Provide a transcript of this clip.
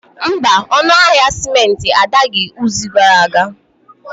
Mba, ọnụ ahịa simenti adaghị izu gara aga